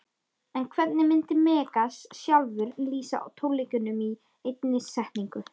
En hvernig myndi Megas sjálfur lýsa tónleikunum í einni setningu?